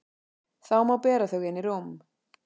Þá má bera þau inn í rúm.